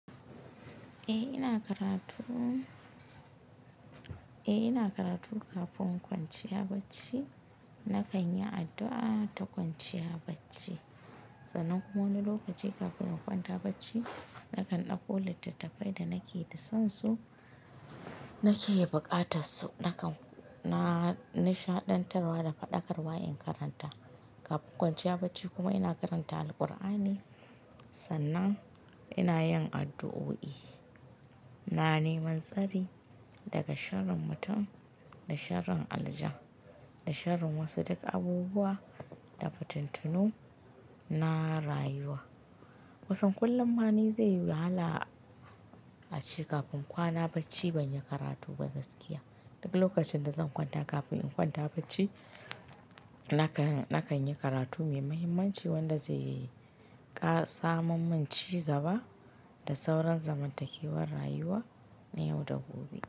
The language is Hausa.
Eh ina karatu, eh ina karatu kafin kwanciya bacci na kan yi addu'a ta kwanciya bacci, sannan kuma wani lokaci kafin in kwanta bacci na kan ɗauko littattafai da nake da sonsu nake buƙatar su nakan na nishaɗantarwa da faɗakarwa in karanta. Kafin kwanciya bacci kuma ina karanta Alqur'ani sannan ina yin addu'o'i, na neman tsari daga sharrin mutum da sharrin aljan da sharrin wasu duk abubuwa da fituntunu na rayuwa. Kusan kullum ma ni zai yi wahala a ce kafin kwana bacci ban yi karatu ba gaskiya. Duk lokacin da zan kwanta kafin in kwanta bacci na kan, na kan yi karatu mai mahimmanci wanda zai saman mun ci gaba da sauran zamantakewar rayuwa na yau da gobe.